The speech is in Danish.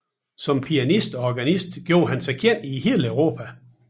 Som pianist og organist gjorde han sig kendt i hele Europa